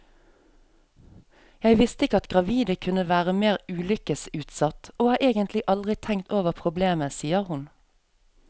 Jeg visste ikke at gravide kunne være mer ulykkesutsatt, og har egentlig aldri tenkt over problemet, sier hun.